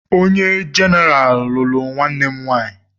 Onye jenaraal lụrụ nwanne m nwaanyị.